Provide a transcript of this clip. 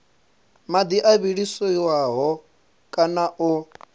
madi o vhiliswaho kana o